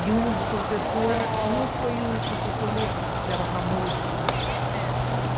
E uma dos professores, um foi o professor Leão, que era famoso também, sim.